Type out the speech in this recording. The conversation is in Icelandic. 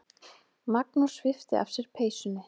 Magnús svipti af sér peysunni.